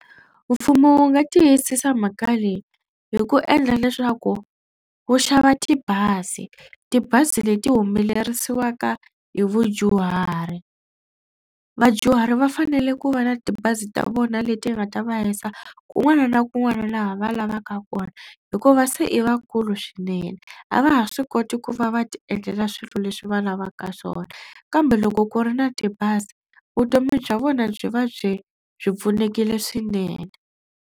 Mfumo wu nga tiyisisa mhaka leyi hi ku endla leswaku wu xava tibazi tibazi leti humelerisiwaka hi vudyuhari. Vadyuhari va fanele ku va na tibazi ta vona leti nga ta va yisa kun'wana na kun'wana laha va lavaka kona hikuva se i vakulu swinene a va ha swi koti ku va va ti endlela swilo leswi va lavaka swona kambe loko ku ri na tibazi vutomi bya vona byi va byi byi pfunekile swinene.